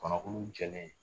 Kɔnɔkulu jɛlen